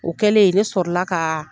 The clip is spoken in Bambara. O kɛlen ne sɔrɔla ka